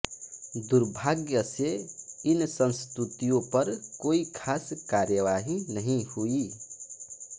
दुर्भाग्य से इन संस्तुतियों पर कोई खास कार्यवाही नहीं हुई